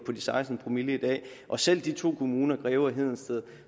de seksten promille i dag og selv de to kommuner greve og hedensted